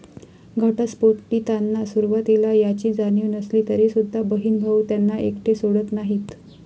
घटस्फोटितांना सुरुवातीला याची जाणीव नसली तरीसुद्धा बहीण भाऊ त्यांना एकटे सोडत नाहीत.